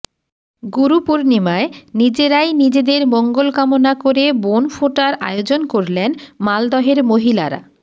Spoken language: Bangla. গুরু পূর্ণিমায় নিজেরাই নিজেদের মঙ্গলকামনা করে বোনফোঁটার আয়োজন করলেন মালদহের মহিলারা